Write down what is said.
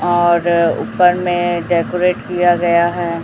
और ऊपर में डेकोरेट किया गया है।